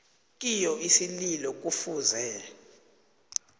kiyo isililo kufuze